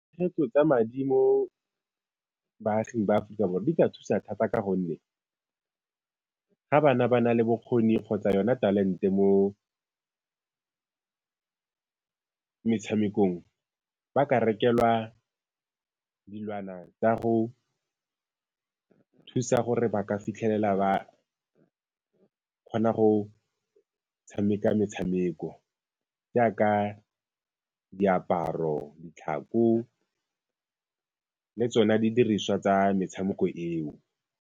tsa madi mo baaging ba Aforika Borwa di ka thusa thata ka gonne ga bana ba na le bokgoni kgotsa yona talente mo metshamekong, ba ka rekelwa dilwana tsa go thusa gore ba ka fitlhelela ba kgona go tshameka metshameko, jaaka diaparo, ditlhako le tsona di diriswa tsa metshameko eo.